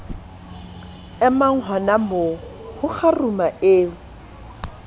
emang honamoo ho kgaruma e